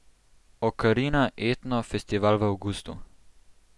Okarina etno festival v avgustu.